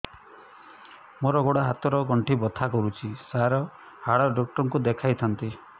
ମୋର ଗୋଡ ହାତ ର ଗଣ୍ଠି ବଥା କରୁଛି ସାର ହାଡ଼ ଡାକ୍ତର ଙ୍କୁ ଦେଖାଇ ଥାନ୍ତି